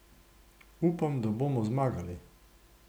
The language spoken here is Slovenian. Upam, da bomo zmagali.